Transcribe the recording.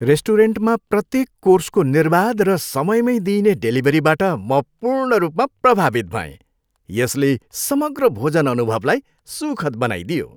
रेस्टुरेन्टमा प्रत्येक कोर्सको निर्बाध र समयमै दिइने डेलिभरीबाट म पूर्ण रूपमा प्रभावित भएँ, यसले समग्र भोजन अनुभवलाई सुखद बनाइदियो।